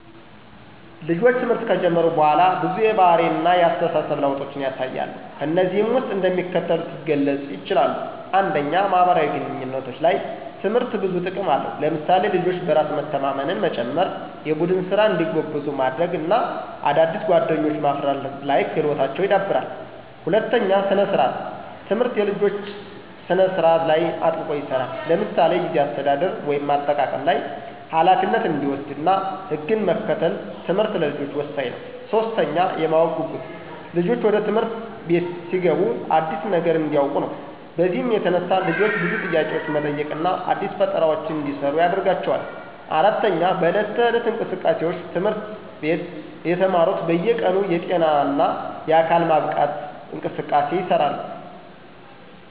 ልጆች ትምህርት ከጀመሩ በኋላ ብዙ የባህሪ እነ የአስተሳሰብ ለውጦችን ያሳያሉ። ከነዚህም ውስጥ እንደሚከተሉት የገለጹ ይችላሉ። 1, ማህበራዊ ግንኙነቶች፦ ላይ ትምህርት ብዙ ጥቅም አለው ለምሳሌ፦ ልጆች በራስ መተማመንን መጨመራ፣ የቡድን ስራ እንዲጎብዙ ማድርግ እና አዳዲስ ጓደኞችዎ ማፍርት ላይ ክህሎታቸው ይዳብራል። 2, ሰነ-ስርአት፦ ትምህርት የልጆች ስነ ስርአት ላይ አጥብቆ ይሰራል ለምሳሌ፦ የጊዜ አሰተዳደር (አጠቃቀም ላይ) ፣ኋላፊነት እንዲወሰድ እና ህግን መከተል ትምህርት ለልጆች ወሳኝ ነው። 3, የማወቅ ጉጉት፦ ልጆች ወደ ትምህርት አቤት ሲገቡ አዲስ ነገር እንዲውቁ ነው። በዚህም የተነሳ ልጆች ብዙ ጥያቄዎች መጠየቅ እና አዲስ ፈጠራዎችን እንዲሰሩ ያደርጋቸዋል። 4, በዕለት ተዕለት እንቅስቃሴዎች፦ ትምህርት አቤት የተማሩት በየ ቀኑ የጤና እነ የአካል ማብቃት እንቅስቃሴ ይሰራሉ።